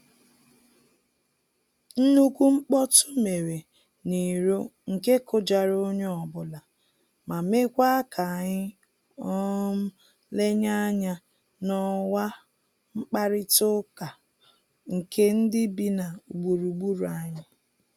Nnukwu mkpọtụ mere n'iro nke kụjara onye ọbụla, ma mekwa k'anyị um lenye anya n'ọwa mkparịta ụka nke ndị bi na gburugburu anyị